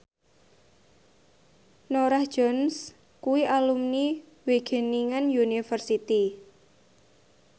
Norah Jones kuwi alumni Wageningen University